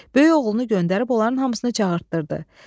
Böyük oğlunu göndərib onların hamısını çağırtdırdı.